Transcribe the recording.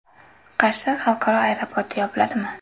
Qarshi xalqaro aeroporti yopiladimi?.